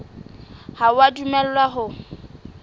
ha o a dumellwa ho